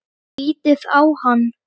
Lítið á hann!